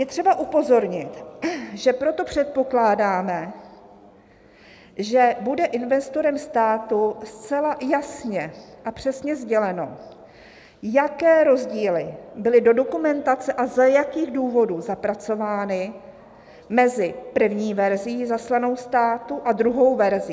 "Je třeba upozornit, že proto předpokládáme, že bude investorem státu zcela jasně a přesně sděleno, jaké rozdíly byly do dokumentace a za jakých důvodů zapracovány mezi první verzí zaslanou státu a druhou verzí."